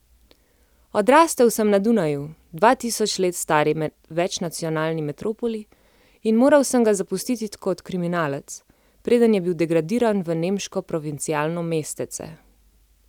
Odrastel sem na Dunaju, dva tisoč let stari večnacionalni metropoli, in moral sem ga zapustiti kot kriminalec, preden je bil degradiran v nemško provincialno mestece.